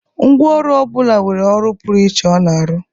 Ngwá ọrụ ọ bụla nwere ọrụ pụrụ iche ọ na-arụ.